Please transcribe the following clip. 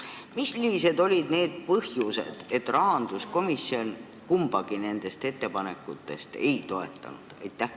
Mis olid need põhjused, miks ei toetanud rahanduskomisjon kumbagi ettepanekut?